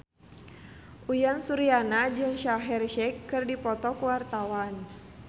Uyan Suryana jeung Shaheer Sheikh keur dipoto ku wartawan